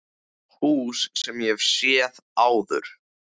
Hús sem ég hef séð áður.